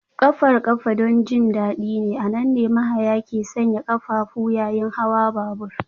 Ƙafar ƙafa don jin daɗi ne, a nan ne mahaya ke sanya ƙafafu yayin hawan babur